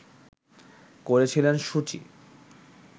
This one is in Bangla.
করেছিলেন সু চি